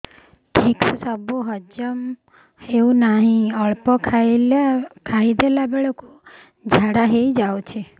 ଠିକସେ ସବୁ ହଜମ ହଉନାହିଁ ଅଳ୍ପ ଖାଇ ଦେଲା ବେଳ କୁ ଝାଡା ହେଇଯାଉଛି